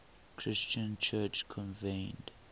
christian church convened